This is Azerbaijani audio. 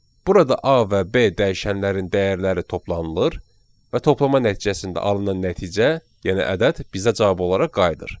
Burada A və B dəyişənlərin dəyərləri toplanılır və toplama nəticəsində alınan nəticə, yəni ədəd bizə cavab olaraq qayıdır.